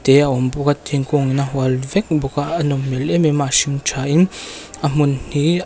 te a awm bawk a thingkung in a hual vek bawk a a nawm hmel em em a a hring tha in a hmun hi--